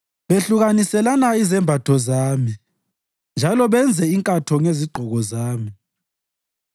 Behlukaniselana izembatho zami njalo benze inkatho ngezigqoko zami.